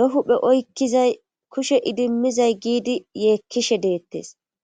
be huphe oykkizay kushe idimmizay giidi yeekkishe deettes